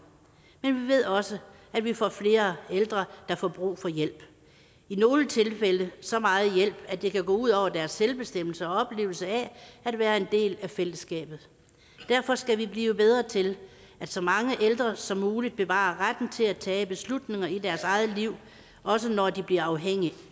men vi ved også at vi får flere ældre der får brug for hjælp i nogle tilfælde så meget hjælp at det kan gå ud over deres selvbestemmelse og oplevelse af at være en del af fællesskabet derfor skal vi blive bedre til at så mange ældre som muligt bevarer retten til at tage beslutninger i deres eget liv også når de bliver afhængige af